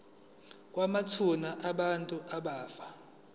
kwamathuna abantu abafa